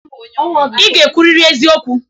Ị ga-ekwuriri eziokwu.